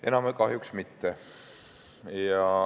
Enam kahjuks mitte.